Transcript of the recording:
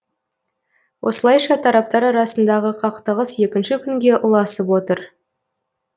осылайша тараптар арасындағы қақтығыс екінші күнге ұласып отыр